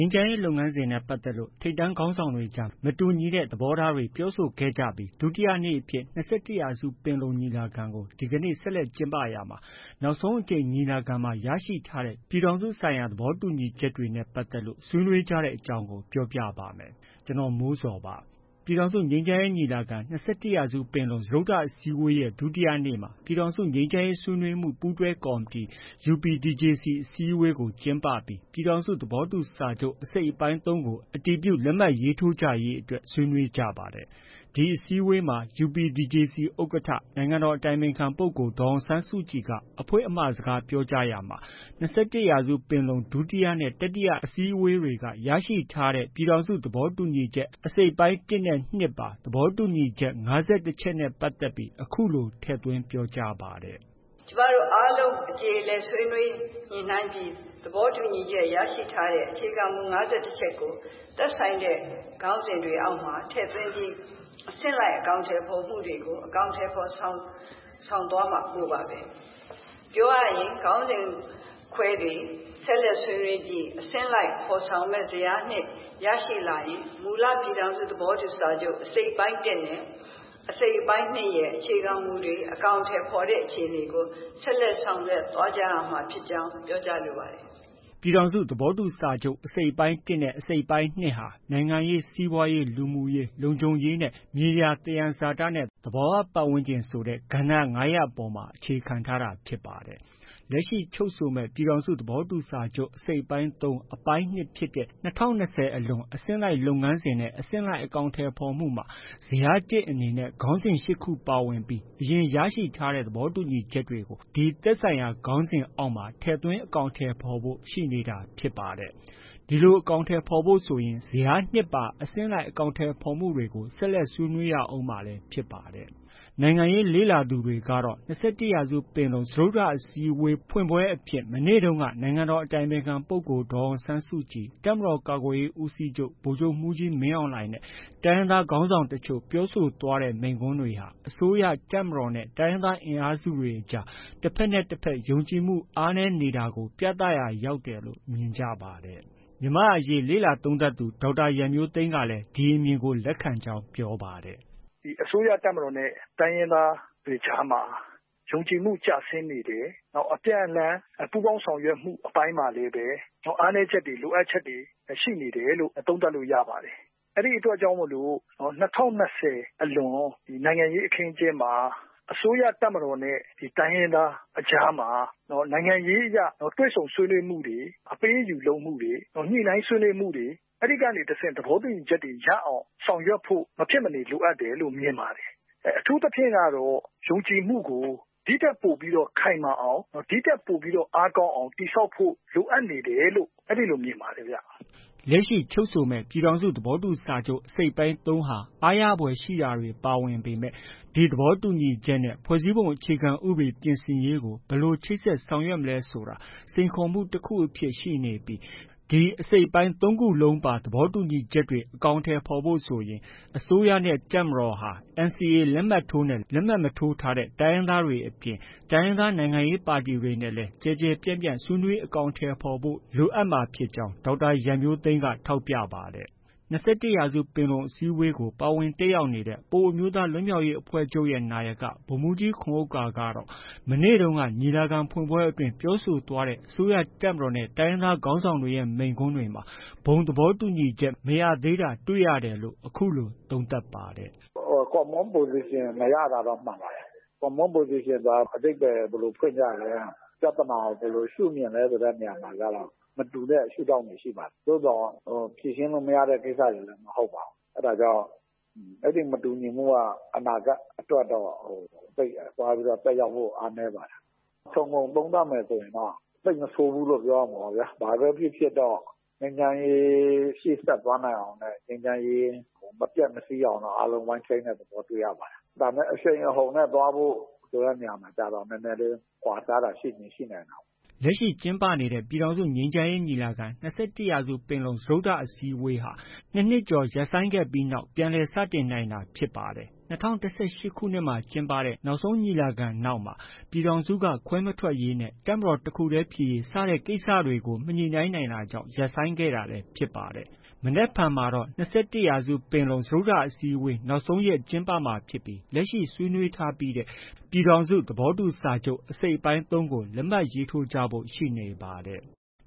မ်းရေး လုပ်ငန်းစဉ်နဲ့ ပတ်သက်လို့ ထိပ်တန်းခေါင်းဆောင်တွေကြား မတူညီတဲ့ သဘောထားတွေ ပြောဆိုခဲ့ကြပြီး ဒုတိယနေ့အဖြစ် ၂၁ ရာစုပင်လုံ ညီလာခံကို ဒီကနေ့ ဆက်လက်ကျင်းပရာမှာ နောက်ဆုံးအကြိမ် ညီလာခံမှာ ရရှိထားတဲ့ ပြည်ထောင်စုဆိုင်ရာ သဘောတူညီချက်တွေနဲ့ ပတ်သက်လို့ ဆွေးနွေးကြတဲ့အကြောင်းပြောပြပါမယ်။ ဗွီအိုအေမြန်မာပိုင်းသတင်းထောက် ကိုမိုးဇော်က သတင်းပေးပို့ထားပါတယ်။ ပြည်ထောင်စုငြိမ်းချမ်းရေးညီလာခံ - ၂၁ရာစုပင်လုံ စတုတ္ထအစည်းအဝေးရဲ့ ဒုတိယနေ့မှာ ပြည်ထောင်စုငြိမ်းချမ်းရေးဆွေးနွေးမှု ပူးတွဲကော်မတီ UPDJC အစည်းအဝေးကို ကျင်းပပြီး ပြည်ထောင်စုသဘောတူစာချုပ် အစိတ်အပိုင်း ၃ ကို အတည်ပြုလက်မှတ်ရေးထိုးကြရေး ဆွေးနွေးကြပါတယ်။ ဒီအစည်းအဝေးမှာ UPDJC ဥက္ကဋ္ဌ နိုင်ငံတော်အတိုင်ပင်ခံပုဂ္ဂိုလ် ဒေါ်အောင်ဆန်းစုကြည်က အဖွင့်အမှာစကားပြောရာမှာ ၂၁ရာစုပင်လုံ ဒုတိယနဲ့ တတိယ အစည်းအဝေးက ရရှိထားတဲ့ ပြည်ထောင်စု သဘောတူညီချက် အစိတ်အပိုင်း ၁ နဲ့ ၂ ပါ သဘောတူညီချက် ၅၁ ချက်နဲ့ ပတ်သက်ပြီး အခုလို ထည့်သွင်း ပြောကြားပါတယ်။ “ကျမတို့ အားလုံး အကျေအလည်ဆွေးနွေးညှိနှိုင်းပြီး သဘောတူညီချက်ရရှိထားတဲ့ အခြေခံမူ ၅၁ ချက်ကို သက်ဆိုင်တဲ့ ခေါင်းစဉ်တွေအောက်မှာ ထည့်သွင်းပြီး အဆင့်လိုက်အကောင်အထည်ဖော်မှုတွေကို အကောင်အထည်ဖော်ဆောင်သွားဖို့ပါပဲ။ ပြောရရင် ခေါင်းစဉ်ခွဲတွေ ဆက်လက် ဆွေးနွေးပြီး အဆင့်လိုက်ဖော်ဆောင်မယ့် ဇယား၂ ရရှိလာရင် မူလ ပြည်ထောင်စု သဘောတူစာချုပ် အစိတ်အပိုင်း ၁နဲ့ အစိတ်အပိုင်း ၂ ရဲ့ အခြေခံမူတွေ အကောင်အထည်ဖော်တဲ့အခြေအနေကို ဆက်လက် ဆောင်ရွက်သွားကြရမှာဖြစ်ကြောင်း ပြောကြားလိုပါတယ်။” ပြည်ထောင်စု သဘောတူစာချုပ် အစိတ်အပိုင်း ၁ နဲ့ အစိတ်အပိုင်း ၂ဟာနိုင်ငံရေး၊ စီးပွားရေး၊ လူမှုရေး၊ လုံခြုံရေးနဲ့ မြေယာ သယံဇာတနဲ့ သဘောဝပတ်ဝန်းကျင်ဆိုတဲ့ ကဏ္ဍ ၅ ရပ်ပေါ်မှာ အခြေခံထားတာဖြစ်ပါတယ်။ လက်ရှိ ချုပ်ဆိုမယ့် ပြည်ထောင်စု သဘောတူစာချုပ် အစိတ်အပိုင်း ၃၊ အပိုင်း ၂ ဖြစ်တဲ့ ၂၀၂၀ အလွန် အဆင့်လိုက်လုပ်ငန်းစဉ်နဲ့ အဆင့်လိုက် အကောင်အထည်ဖော်မှုမှာ ဇယား ၁ အနေနဲ့ ခေါင်းစဉ် ၈ ခု ပါဝင် ပြီး အရင် ရရှိထားတဲ့ သဘောတူညီချက်တွေကို ဒီသက်ဆိုင်ရာ ခေါင်းစဉ်တွေအောက်မှာ ထည့်သွင်း အကောင်အထည်ဖော်ဖို့ ရှိနေတာဖြစ်ပါတယ်။ ဒီလို အကောင်အထည်ဖော်ဖို့ ဆိုရင် ဇယား၂ ပါ အဆင့်လိုက်အကောင်အထည်ဖော်မှုတွေကို ဆက်လက် ဆွေးနွေးကြရအုံးမှာလည်း ဖြစ်ပါတယ်။ နိုင်ငံရေးလေ့လာသူတွေကတော့ ၂၁ရာစုပင်လုံ စတုတ္ထအစည်းအဝေးဖွင့်ပွဲအဖြစ် မနေ့တုန်းက နိုင်ငံတော်အတိုင်ပင်ခံပုဂ္ဂိုလ် ဒေါ်အောင်ဆန်းစုကြည်၊ တပ်မတော်ကာကွယ်ရေးဦးစီးချုပ် ဗိုလ်ချုပ်မှူးကြီး မင်းအောင်လှိုင်နဲ့ တိုင်းရင်းသားခေါင်းဆောင်တချို့ ပြောဆိုသွားတဲ့ မိန့်ခွန်းတွေဟာ အစိုးရ၊ တပ်မတော်နဲ့ တိုင်းရင်းသားအင်အားစုတွေကြား တဘက်နဲ့တဘက် ယုံကြည်မှု အားနည်းနေတာကို ပြသရာရောက်တယ်လို့ မြင်ကြပါတယ်။ မြန်မာအရေး လေ့လာသုံးသပ်သူ ဒေါက်တာ ရန်မျိုးသိမ်းကလည်း ဒီအမြင်ကို လက်ခံကြောင်း ပြောပါတယ်။ “အစိုးရ၊ တပ်မတော်နဲ့ တိုင်းရင်းသားတွေကြားမှာ ယုံကြည်မှု ကျဆင်းနေတယ်။ နောက် အပြန်အလှန် ပူးပေါင်းဆောင်ရွက်မှုအပိုင်းမှာလည်း အားနည်းချက်တွေ၊ လိုအပ်ချက်တွေ ရှိနေတယ်လို့ သုံးသပ်လို့ ရပါတယ်။ အဲဒီအတွက်ကြောင့်မို့ ၂၀၂၀ အလွန် နိုင်ငံရေးအခင်းအကျင်းမှာ အစိုးရ၊ တပ်မတော်နဲ့ တိုင်းရင်းသားအကြားမှာ နိုင်ငံရေးအရ တွေ့ဆုံဆွေးနွေးမှုတွေ၊ အပေးအယူလုပ်မှုတွေ၊ ညှိနှိုင်းဆွေးနွေးမှုတွေ အဲဒီကနေတဆင့် သဘောတူညီချက်တွေ ရအောင် ဆောင်ရွက်ဖို့ မဖြစ်မနေ လိုအပ်တယ်လု့ိ မြင်ပါတယ်။ အထူးသဖြင့်ကတော့ ယုံကြည်မှုကို ဒီထက်ပိုပြီးတော့ ခိုင်မာအောင်၊ ဒီထက်ပိုပြီးတော့ အားကောင်းအောင် တည်ဆောက်ဖို့ လိုအပ်နေတယ်လို့ အဲဒီလို မြင်ပါတယ်ဗျ။” လက်ရှိချုပ်ဆိုမယ့် ပြည်ထောင်စုသဘောတူစာချုပ် အစိတ်အပိုင်း ၃ ဟာ အားရဖွယ်ရှိတာတွေ ပါဝင်ပေမဲ့ ဒီသဘောတူညီချက်နဲ့ ဖွဲ့စည်းပုံအခြေခံဥပဒေပြင်ဆင်ရေးကို ဘယ်လို ချိတ်ဆက် ဆောင်ရွက်မလဲဆိုတာ စိန်ခေါ်မှုတ စ်ခုအနေနဲ့ ရှိနေပြီး ဒီ အစိတ်အပိုင်း ၃ခုလုံးပါ သဘောတူညီချက်တွေအကောင်အထည်ဖော်ဖို့ ဆိုရင် အစိုးရနဲ့ တပ်မတော်ဟာ NCA လက်မှတ်ထိုးနဲ့ လက်မှတ်မထိုးထားတဲ့ တိုင်းရင်းသားတွေအပြင် တိုင်းရင်းသား နိုင်ငံရေးပါတီတွေနဲ့လည်း ကျယ်ကျယ်ပြန့်ပြန့် ဆွေးနွေးအကောင်အထည်ဖော်ဖို့ လိုအပ်မှာဖြစ်ကြောင်း ဒေါက်တာရန်မျိုးသိမ်းက ထောက်ပြပါတယ်။ ၂၁ ရာစုပင်လုံအစည်းအဝေးကို ပါဝင်တက်ရောက်နေတဲ့ ပအိုဝ်းအမျိုးသား လွတ်မြောက်ရေးအဖွဲ့ချုပ်ရဲ့ နာယက ဗိုလ်မှုးကြီးခွန်ဥက္ကာကတော့ မနေ့တုန်းက ညီလာခံဖွင့်ပွဲအတွင်း ပြောဆိုသွားခဲ့ကြတဲ့ အစိုးရ၊ တပ်မတော်နဲ့ တိုင်းရင်းသား ခေါင်းဆောင်တွေရဲ့ မိန့်ခွန်းတွေမှာ ဘုံသဘောတူညီချက် မရသေးတာတွေ့ရတယ်လို့ အခုလို သုံးသပ်ပါတယ်။ “Common Position မရတာတော့ မှန်ပါတယ်။ Common Position ဆိုတာက အဓိပ္ပါယ် ဘယ်လို ဖွင့်ကြလဲ။ ပြဿနာကို ဘယ်လို ရှုမြင်လဲ ဆိုတဲ့နေရာမှာကျတော့ မတူတဲ့ ရှုဒေါင့်တွေ ရှိပါတယ်။ ဖြေရှင်းလို့ မရတဲ့ ကိစ္စတွေလည်း မဟုတ်ပါဘူး။ အဲဒါကြောင့် အဲဒီ မတူညီမှုက အနာဂတ်အတွက်တော့ သက်ရောက်မှုအားနည်းပါတယ်။ ခြုံငုံသုံးသပ်မယ်ဆိုရင်တော့ သိပ်မဆိုးဘူးလို့ ပြောရမှာပဲဗျာ။ ဘာပဲ ဖြစ်ဖြစ်တော့ ငြိမ်းချမ်းရေး ရှေ့ဆက်သွားနိုင်အောင်နဲ့ ငြိမ်းချမ်းရေး မပျက်မဆီးအောင်တော့ အားလုံး ဝိုင်းထိန်းတဲ့ သဘောတွေ့ရပါတယ်။ ဒါပေမဲ့ အရှိန်အဟုန်နဲ့သွားဖို့ ဆိုတဲ့နေရာမှာတော့ နည်းနည်းလေး ကွာခြားတာရှိချင် ရှိနိုင်တာပေါ့။” လက်ရှိ ကျင်းပနေတဲ့ ပြည်ထောင်စုငြိမ်းချမ်းရေးညီလာခံ - ၂၁ ရာစုပင်လုံ စတုတ္ထအစည်းအဝေးဟာ ၂ နှစ်ကျော်ရပ်ဆိုင်းခဲ့ပြီးမှာ ပြန်လည် စတင်နိုင်ခဲ့တာဖြစ်ပါတယ်။ ၂၀၁၈ ခုနှစ်မှာကျင်းပတဲ့ နောက်ဆုံးညီလာခံနောက်ပိုင်းမှာ ပြည်ထောင်စုက ခွဲမထွက်ရေးနဲ့ တပ်မတော်တစ်ခုတည်းဖြစ်ရေး စတဲ့ ကိစ္စရပ်တွေကို မညှိနှိုင်းနိုင်တာကြောင့် ရပ်ဆိုင်းခဲ့တာလည်း ဖြစ်ပါတယ်။ မနက်ဖြန်မှာတော့ ၂၁ ရာစုပင်လုံ စတုတ္ထအစည်းအဝေး နောက်ဆုံးရက်ကျင်းပမှာဖြစ်ပြီး လက်ရှိ ဆွေးနွေးထားပြီးတဲ့ ပြည်ထောင်စု သဘောတူစာချုပ် အစိတ်အပိုင်း ၃ ကို လက်မှတ် ရေးထိုးကြဖို့ ရှိနေပါတယ်။